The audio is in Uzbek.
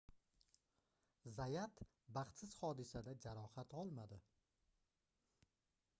zayat baxtsiz hodisada jarohat olmadi